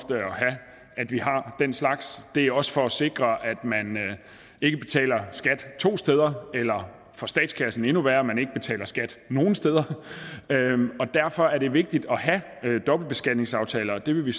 at vi har den slags det er også for at sikre at man ikke betaler skat to steder eller hvad for statskassen er endnu værre at man ikke betaler skat nogen steder derfor er det vigtigt at have dobbeltbeskatningsaftaler og det vil vi